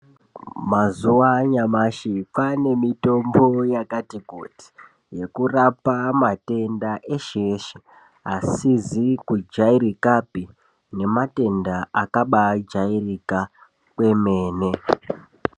Mazuva anyamashi kwane mitombo yakati kuti yekurapa matenda eshe-eshe. Asizi kujairikapi nematenda akabajairika kwemene.